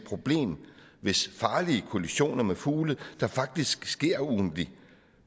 problem hvis farlige kollisioner med fugle der faktisk sker ugentligt